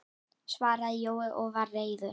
svaraði Jói og var reiður.